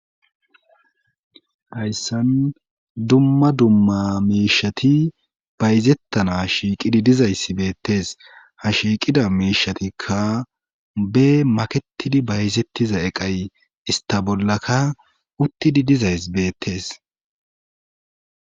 hayssan dumma dumma miishati bayzettana shiiqidi dizayssi beettees ha shiiqida miishatikka be makettidi bayzettiza eqay ista bollaka uttidi dizayss beettees.